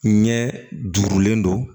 Ɲɛ duurulen don